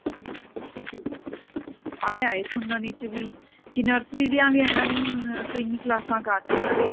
ਆਇਆ ਸੁਣਨ ਚ ਵੀ ਕੀ nursery ਦੀ ਵੀ ਇਹਨਾਂ ਨੇ ਹੁਣ ਤਿੰਨ ਕਲਾਸਾਂ ਕਰਤੀਆਂ ਨੇ